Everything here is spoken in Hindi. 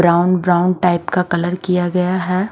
ब्राउन ब्राउन टाइप का कलर किया गया है।